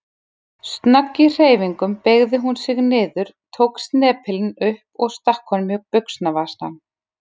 Snögg í hreyfingum beygði hún sig niður, tók snepilinn upp og stakk honum í buxnavasann.